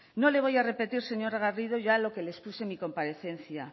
no le voy a repetir señora garrido ya lo que le expuse en la comparecencia